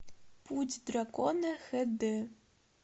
путь дракона хд